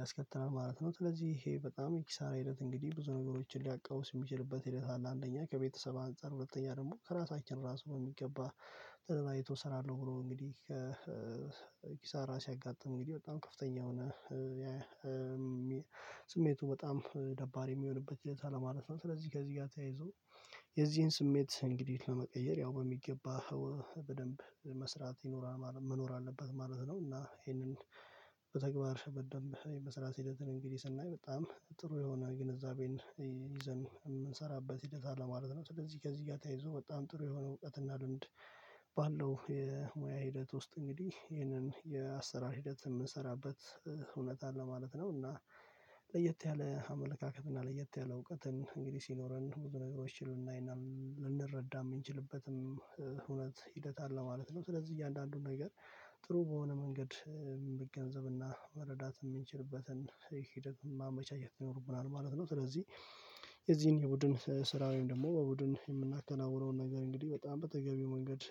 ያስከትላል ማለት ነው። ስለዚህ ይሄ በጣም የኪሳራ ሂደት እንግዲህ ብዙ ነገሮችን ሊያቀውስ የሚችልበት ሂደት አለ አንደኛ ከቤተሰብ አንፃር ሁለተኛ ደግሞ ከራሳችን እራሱ በሚገባ ተገናይቶ እሰራለሁ ብሎ እንግዲህ ከኪሳራ ሲያጋጥም እንግዲህ በጣም ከፍተኛ የሆነ ስሜቱ በጣም ደባሪ የሚሆንበት ሂደት አለ ማለት ነው። ስለዚህ ከዚህ ጋር ተያይዞ የዚህን ስሜት እንግዲህ ለመቀየር ያው በሚገባ በደንብ መስራት ይኖራል መኖር አለበት ማለት ነው። እና ይሄንን በተግባር በደንብ የመስራት ሂደትን እንግዲህ ስናይ በጣም ጥሩ የሆነ ግንዛቤን ይዘን የምንሰራበት ሂደት አለ ማለት ነው። ስለዚህ ከዚህ ጋር ተያይዞ በጣም ጥሩ የሆነ እውቀት እና ልምድ ባለው የሙያ ሂደት ውስጥ እንግዲህ ይህንን የአሰራር ሂደት የምንሰራበት እውነት አለ ማለት ነው። እና ለየት ያለ አመለካከት እና ለየት ያለ እውቀትን እንግዲህ ሲኖረን ብዙ ነገሮች ይሉናል ልንረዳ የምንችልበትም እውነት ሂደት አለ ማለት ነው። ስለዚህ እያንዳንዱን ነገር ጥሩ በሆነ መንገድ መገንዘብና መረዳት የምንችልበትን ሂደት ማመቻቸት ይኖርብናል ማለት ነው። ስለዚህ የዚህን የቡድን ስራው ወይም ደግሞ በቡድን የምናከናውነውን ነገር እንግዲህ በጣም በተገቢው መንገድ